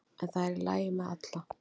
En það er í lagi með alla